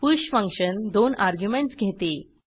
push function 2 arguments घेते